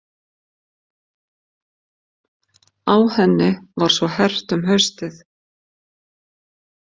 Á henni var svo hert um haustið.